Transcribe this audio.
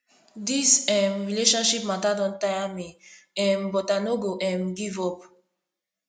dis um relationship mata don tire me um but i no go um give up